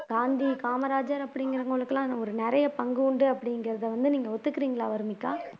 காந்தி காமராஜர் அப்படிங்கிறவங்களுக்கு எல்லாம் ஒரு நிறைய பங்கு உண்டு அப்படிங்கிறதை வந்து நீங்க ஒத்துக்கிறீங்களா வர்னிகா